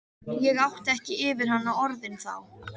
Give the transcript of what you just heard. Ég átti ekki yfir hana orðin þá.